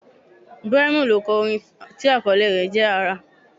Brymo ló kọ orin tí àkọlé rẹ̀ jẹ́: Àrà